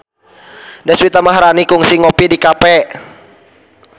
Deswita Maharani kungsi ngopi di cafe